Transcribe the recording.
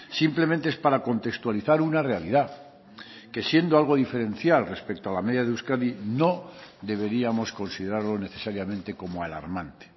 simplemente es para contextualizar una realidad que siendo algo diferencial respecto a la media de euskadi no deberíamos considerarlo necesariamente como alarmante